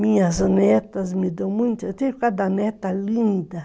Minhas netas me dão muito, eu tenho cada neta linda.